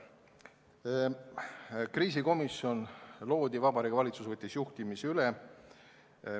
Siis loodi kriisikomisjon ja Vabariigi Valitsus võttis juhtimise üle.